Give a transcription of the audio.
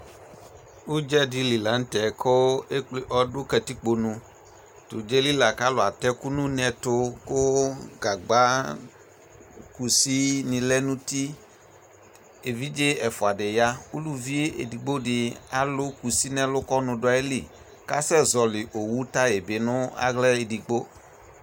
Udza de li lantɛ ko ekple, ɔdo katikponu To udza yɛ li la ko alu atɛ ɛku no uneto ko gagba, kusi ne lɛ no uti Evidze ɛfua de yaa Uluvi edigbo de alu kusi no ɛlu ko ɔnu do ayili kasɛ zɔli owu tayi be no ahla edigbo